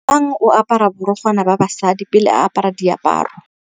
Lebogang o apara borukgwana ba basadi pele a apara diaparô.